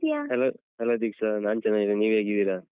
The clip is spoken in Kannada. Hello hello ದೀಕ್ಷ ನಾನ್ ಚೆನ್ನಾಗಿದ್ದೇನೆ ನೀವು ಹೇಗಿದ್ದೀರಾ?